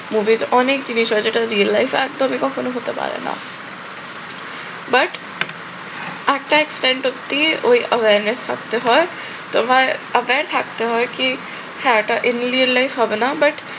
movies এর অনেক জিনিস আছে যেটা real life এ একদমই কখনো হতে পারে না। but একটা expend অবধি ওই awareness থাকতে হয়। তোমার aware থাকতে হয় কি ওটা real life হবে না but